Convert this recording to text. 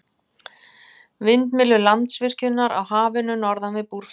Vindmyllur Landsvirkjunar á Hafinu norðan við Búrfell.